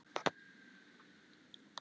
Þeir voru nokkuð seigir.